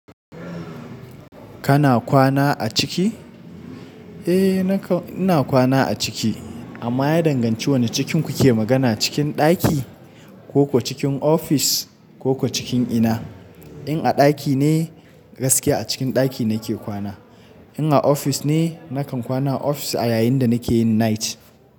Kana kwana a ciki? Eh, nakan ina kwana a ciki. Amma ya danganci wane cikin kuke magana, cikin ɗaki ko kuwa cikin ofis ko kuwa cikin ina? In a ɗaki ne, gaskiya a cikin ɗaki nake kwana. In a ofis ne, nakan kwana a ofis a yayin da nake yin night.